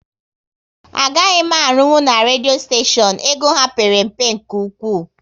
Agaghị m arunwu na redio steshion, ego ha père mpe nke ụkwụ